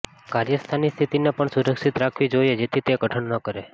કાર્યસ્થાનની સ્થિતિને પણ સુરક્ષિત રાખવી જોઈએ જેથી તે કઠણ ન કરે